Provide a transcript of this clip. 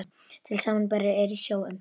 Til samanburðar eru í sjó um